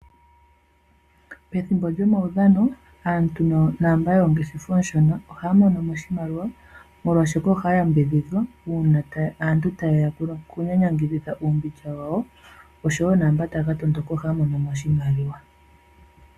Pethimbo lyomaudhano, aantu naamba yoongeshefa oonshona ohaya mono oshimaliwa, molwaashoka ohaya yambidhidhwa uuna aantu tayeya okunyanyangidhitha uumbindja wawo, osho wo naamba taya ka tondoka ohaya mono mo oshimaliwa.